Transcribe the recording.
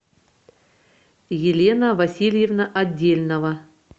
елена васильевна отдельнова